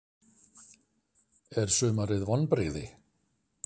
Er sumarið vonbrigði?